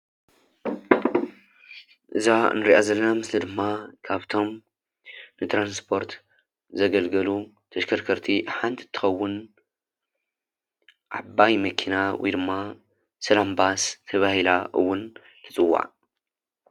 እዚአ ንሪአ ዘለና ምስሊ ድማ ካፍቶም ንትራንስፓርት ዘገልገሉ ተሽከርከርቲ ሓንቲ እንትትክውን ዓባይ መኪና ወይ ድማ ስላም ባስ ተባሂላ እውን ትፅዋዕ፡፡